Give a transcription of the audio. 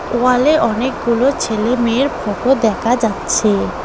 ওয়ালে অনেকগুলো ছেলে মেয়ের ফটো দেকা যাচ্ছে।